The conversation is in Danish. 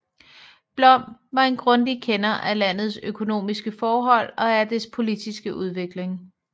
Blom var en grundig kender af landets økonomiske forhold og af dets politiske udvikling